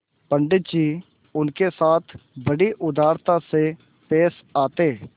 पंडित जी उनके साथ बड़ी उदारता से पेश आते